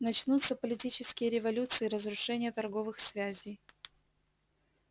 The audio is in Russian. начнутся политические революции разрушение торговых связей